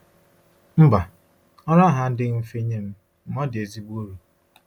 Mba, ọrụ ahụ adịghị mfe nye m, ma ọ dị ezigbo uru.